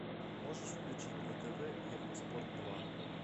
можешь включить на тв евроспорт два